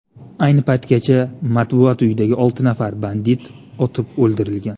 Ayni paytgacha Matbuot uyidagi olti nafar bandit otib o‘ldirilgan.